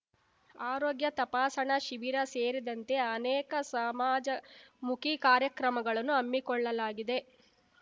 ಆರೋಗ್ಯ ತಪಾಸಣಾ ಶಿಬಿರ ಸೇರಿದಂತೆ ಅನೇಕ ಸಮಾಜಮುಖಿ ಕಾರ್ಯಕ್ರಮಗಳನ್ನು ಹಮ್ಮಿಕೊಳ್ಳಲಾಗಿದೆ